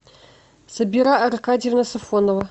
сабира аркадьевна сафонова